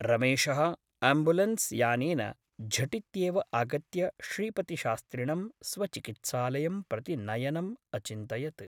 रमेशः ' अम्बुलेन्स् ' यानेन झटित्येव आगत्य श्रीपतिशास्त्रिणं स्व चिकित्सालयं प्रति नयनम् अचिन्तयत् ।